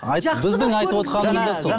біздің айтывотқанымыз да сол